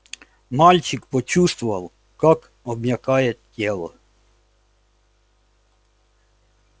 мальчик почувствовал как обмякает тело